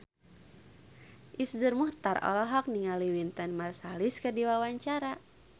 Iszur Muchtar olohok ningali Wynton Marsalis keur diwawancara